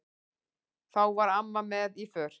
Þá var amma með í för.